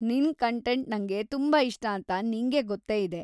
ನಿನ್‌ ಕಂಟೆಂಟ್ ನಂಗೆ ತುಂಬಾ ಇಷ್ಟಾಂತ ನಿಂಗೆ ಗೊತ್ತೇ ಇದೆ.